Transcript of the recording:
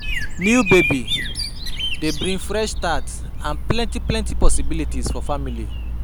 New baby dey bring fresh start and plenty plenty possibilities for family.